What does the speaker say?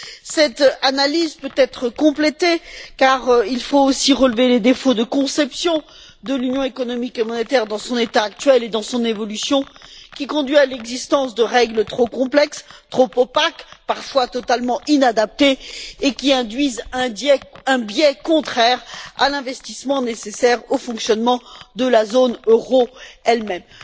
Cette analyse peut être complétée, car il faut aussi relever les défauts de conception de l'Union économique et monétaire dans son état actuel et dans son évolution, qui conduisent à l'existence de règles trop complexes, trop opaques, parfois totalement inadaptées et qui induisent un biais contraire à l'investissement nécessaire au fonctionnement de la zone euro elle même.